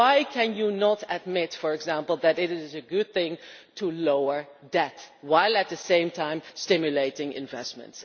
Why can you not admit, for example, that it is a good thing to lower debt, while at the same time stimulating investment?